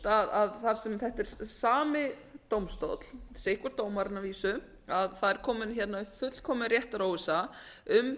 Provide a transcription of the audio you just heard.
sami dómstóll þar sem þetta er sami dómstóll sitt hver dómarinn að vísu það er komin upp fullkomin réttaróvissa um